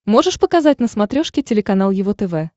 можешь показать на смотрешке телеканал его тв